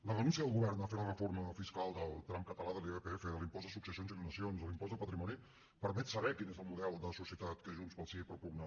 la renúncia del govern a fer la reforma fiscal del tram català de l’irpf de l’impost de successions i donacions de l’impost de patrimoni permet saber quin és el model de societat que junts pel sí propugna